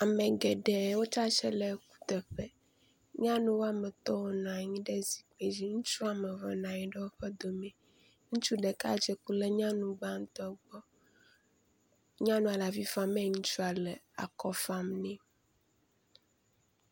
Ame geɖe wotsitre le kuteƒe, nyɔnu wome etɔ wonɔ anyi ɖe zikpi dzi, ŋutsu womeve nɔ anyi ɖe woƒe dome, ŋutsu ɖeka dzeklo ɖe nyɔnu gbãtɔ gbɔ, nyɔnua le avi fam eye ŋutsua le akɔ fam nɛ